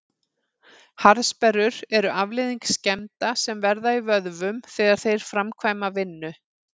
Harðsperrur eru afleiðing skemmda sem verða í vöðvum þegar þeir framkvæma vinnu.